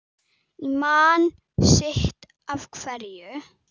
Ég man sitt af hverju